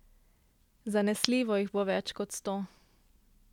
Zanesljivo jih bo več kot sto.